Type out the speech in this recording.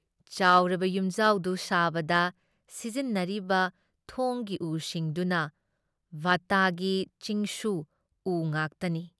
ꯆꯥꯎꯔꯕ ꯌꯨꯝꯖꯥꯎꯗꯨ ꯁꯥꯕꯗ ꯁꯤꯖꯤꯟꯅꯔꯤꯕ ꯊꯣꯡꯒꯤ ꯎꯁꯤꯡꯗꯨꯅ ꯕꯥꯠꯇꯒꯤ ꯆꯤꯡꯁꯨ ꯎ ꯉꯥꯛꯇꯅꯤ ꯫